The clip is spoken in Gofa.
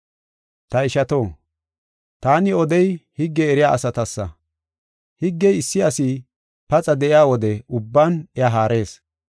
Ta ishato, taani odey higge eriya asatasa. Higgey issi asi paxa de7iya wode ubban iya haarees.